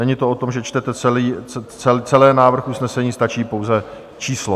Není to o tom, že čtete celý návrh usnesení, stačí pouze číslo.